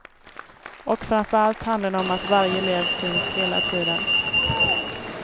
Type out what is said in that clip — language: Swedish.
Och framför allt handlar det om att varje elev syns hela tiden.